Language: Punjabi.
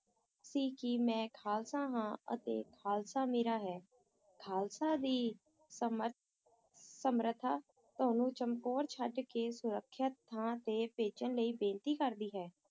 ਸੀ ਕਿ ਮੈਂ ਖਾਲਸਾ ਹਾਂ ਅਤੇ ਖਾਲਸਾ ਮੇਰਾ ਹੈ ਖਾਲਸਾ ਦੀ ਸਮਰ~ ਸਮਰਥਾ ਤੁਹਾਨੂੰ ਚਮਕੌਰ ਛੱਡ ਕੇ ਸੁਰੱਖਿਅਤ ਥਾਂ ਤੇ ਭੱਜਣ ਲਈ ਬੇਨਤੀ ਕਰਦੀ ਹੈ।